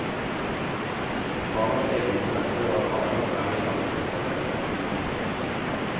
Barnas egne interesser og erfaringer er i alle tilfeller et viktig utgangspunkt.